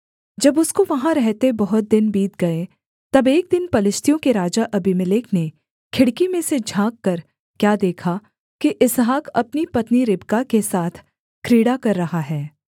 जब उसको वहाँ रहते बहुत दिन बीत गए तब एक दिन पलिश्तियों के राजा अबीमेलेक ने खिड़की में से झाँककर क्या देखा कि इसहाक अपनी पत्नी रिबका के साथ क्रीड़ा कर रहा है